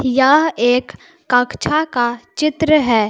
यह एक कक्षा का चित्र है।